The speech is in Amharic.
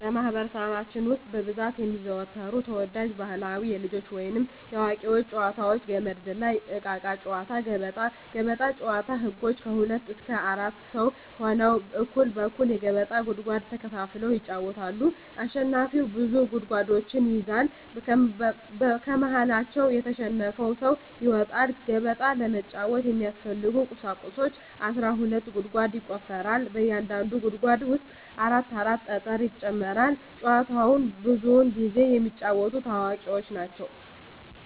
በማህበረሰባችን ውስጥ በብዛት የሚዘወተሩ ተወዳጅ ባህላዊ የልጆች ወይንም የአዋቂዎች ጨዋታዎች - ገመድ ዝላይ፣ እቃቃ ጨዎታ፣ ገበጣ። ገበጣ ጨዎታ ህጎች ከሁለት እስከ አራት ሰው ሁነው እኩል እኩል የገበጣ ጉድጓድ ተከፋፍለው ይጫወታሉ አሸናፊው ብዙ ጉድጓዶችን ይይዛል ከመሀከላቸው የተሸነፈው ሰው ይወጣል። ገበጣ ለመጫወት የሚያስፈልጊ ቁሳቁሶች አስራ ሁለት ጉድጓድ ይቆፈራል በእያንዳንዱ ጉድጓድ ውስጥ አራት አራት ጠጠር ይጨመራል። ጨዎቸውን ብዙውን ጊዜ የሚጫወቱት አዋቂዎች ናቸው።